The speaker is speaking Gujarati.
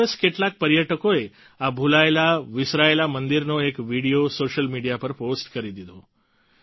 એક દિવસ કેટલાક પર્યટકોએ આ ભૂલાયેલાવિસરાયેલા મંદિરનો એક વીડિયો સોશિયલ મીડિયા પર પોસ્ટ કરી દીધો